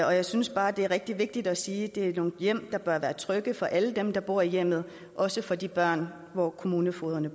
og jeg synes bare det er rigtig vigtigt at sige at det er nogle hjem der bør være trygge for alle dem der bor i hjemmet også for de børn der bor på kommunefogederne